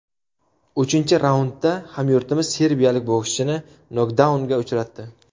Uchinchi raundda hamyurtimiz serbiyalik bokschini nokdaunga uchratdi.